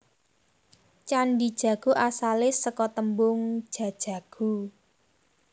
Candhi Jago asale seka tembung Jajaghu